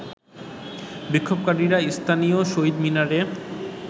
বিক্ষোভকারীরা স্থানীয় শহীদ মিনারে